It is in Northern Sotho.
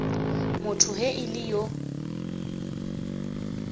motho ge e le yo